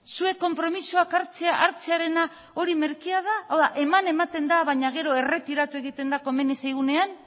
zuek konpromisoak hartzea merkea da hau da eman ematen da baina gero erretiratu egiten da komeni zaigunean